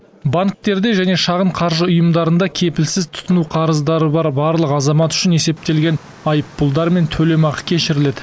банктерде және шағын қаржы ұйымдарында кепілсіз тұтыну қарыздары бар барлық азамат үшін есептелген айыппұлдар мен төлемақы кешіріледі